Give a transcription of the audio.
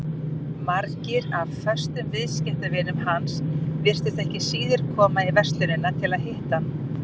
Margir af föstum viðskiptavinum hans virtust ekki síður koma í verslunina til að hitta hann.